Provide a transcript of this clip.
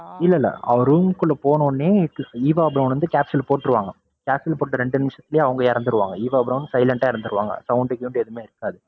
இல்ல, இல்ல அவரு room குள்ள போனவுடனே ஈவா பிரௌன் வந்து capsule போட்டுருவாங்க. capsule போட்ட ரெண்டு நிமிஷத்துலேயே அவங்க இறந்துருவாங்க ஈவா பிரௌன் silent ஆ இறந்துருவாங்க. sound எதுவுமே கேக்காது.